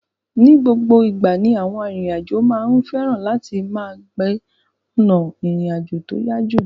Ni gbogbo ìgbà ni àwọn arìnrìn àjò máa ń fẹ́ràn láti máa gbé ọ̀nà ìrìn àjò tí ó yá jù.